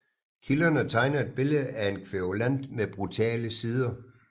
Kilderne tegner et billede af en kværulant med brutale sider